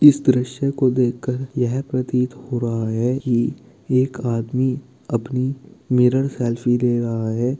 इस दृश्य को देखकर यह प्रतीत हो रहा है कि एक आदमी अपनी मिरर सेल्फी ले रहा है।